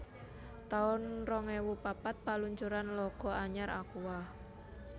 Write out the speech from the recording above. taun rong ewu papat Paluncuran logo anyar Aqua